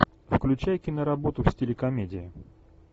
включай киноработу в стиле комедии